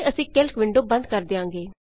ਅਤੇ ਅਸੀਂ calc window ਬੰਦ ਕਰ ਦਿਆਂਗੇ